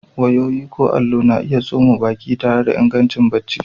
Wayoyi ko allo, na iya tsoma baki tare da ingancin barci.